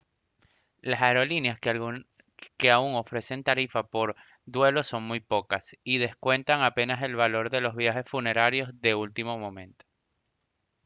las aerolíneas que aún ofrecen tarifas por duelo son muy pocas y descuentan apenas el valor de los viajes funerarios de último momento